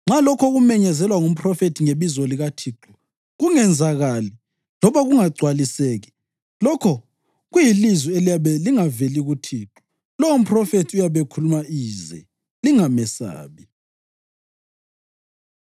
Nxa lokho okumenyezelwa ngumphrofethi ngebizo likaThixo kungenzakali loba kungagcwaliseki, lokho kuyilizwi eliyabe lingaveli kuThixo. Lowo mphrofethi uyabe ekhuluma ize. Lingamesabi.”